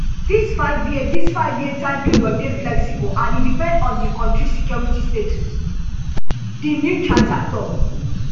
dis fiveyear dis fiveyear time period dey flexible and e depend on di kontri security status di new charter tok